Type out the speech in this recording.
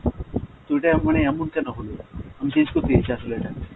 তো এটা মানে এমন কেন হল? আমি change করতে চাইছি আসলে এটাকে।